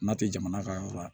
N'a tɛ jamana ka yɔrɔ la